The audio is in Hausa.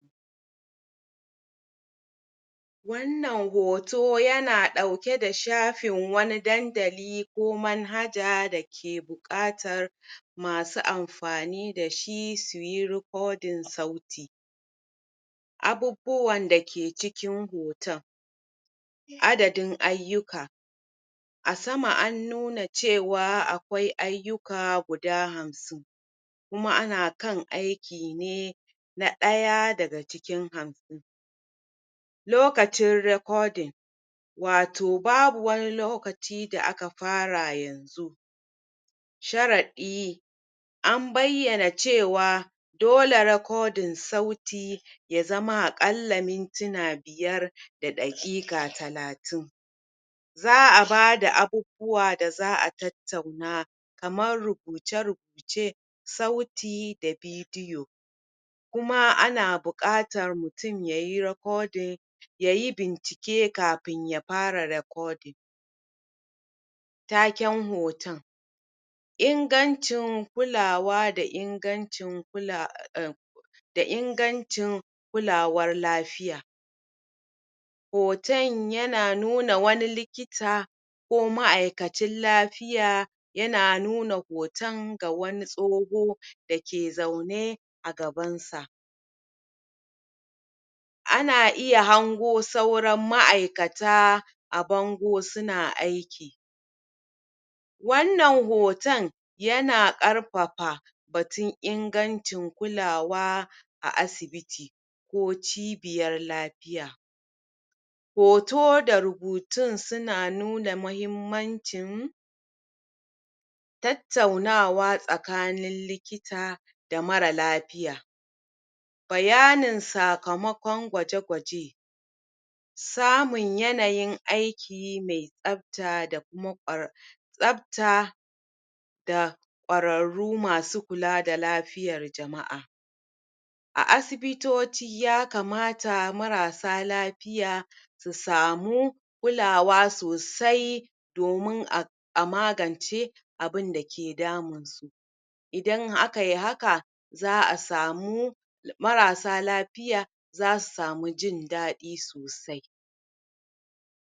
wannan hoto yana dauke da shafin wani dandali ko manhaja dake bukatar masu amfanidashi suyi recording sauti abubuwan dake cikin hoton adadin ayyuka asama an nuna cewa akwai ayyuka guda hamsin kuma ana kan aiki ne na daya daga cikin hamsin lokacin recording wato babu wani lokaci da aka fara yanzu sharadi an bayyana cewa dole recording sauti yazama akalla mintuna biyar da dakika talatin za'a bada abubuwa da za'a tattauna kaman rubuce rubuce sauti da video kuma ana bukatan mutum yayi recording yayi bincike kafin ya fara recording taken hoton ingancin kulawa da inganci kula a (ea) da ingancin kulawar lafiya hoton yana nuna wani likita ko ma'akacin lafiya yana nuna hoton ga wani tsoho dake zaune agaban sa ana iya hango sauran ma'aikata a bango suna aiki wannan hotan yana karfafa batun ingancin kulawa a asibiti ko cibiyar lafiya hoto da rubutun suna nuna mahimmancin tattaunawa sakanin likita da mara lafiya bayanin sakamakon gwaje gwaje samun yanayin aiki mai tsafta da kuma kwar tsafta da kwararru masu kulada lafiyar jama'a a asibitoti ya kamata marasa lafiya su samu kulawa sosai domun a amagance abunda ke damunsu idan akayi haka za'a samu marasa lafiya zasu samu jin dadi sosai